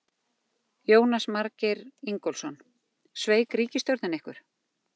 Jónas Margeir Ingólfsson: Sveik ríkisstjórnin ykkur?